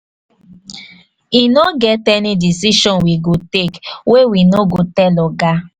e no get any decision we go take wey we no go tell oga.